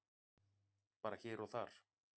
Bara hér og þar.